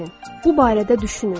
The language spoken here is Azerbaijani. Bu barədə düşünün.